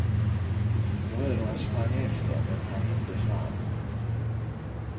Bröderna sprang efter men hann inte fram.